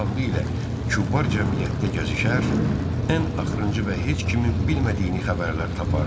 İti ağlı ilə kübar cəmiyyətdə gəzişər, ən axırıncı və heç kimin bilmədiyini xəbərləri tapardı.